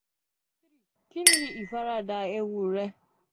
3 kini ifarada ewu rẹ?